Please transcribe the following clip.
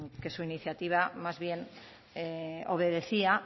que su iniciativa más bien obedecía